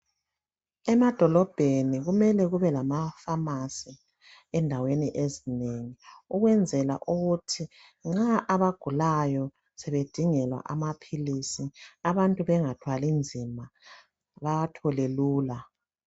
Emadolobheni kumele kubelamapharmacy endaweni ezinengi. Ukwenzela ukuthi abagulayo, nxa sebedingelwa amaphilisi. Abantu bangathwalinzima. Bawathole lula.